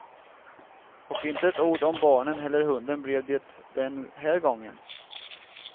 Och inte ett ord om barnen eller hunden blev det den här gången.